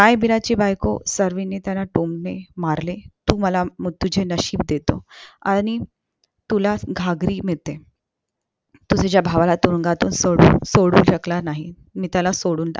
रायबिराची बायको स्वरणी त्याला टोमणे मारले तू मला तुझं नशीब देतो आणि तुला घागरि मिळते तू तुझ्या भावाला तुरुंगातून सोडवू सोडवू शकला नाही मी त्याला सोडून.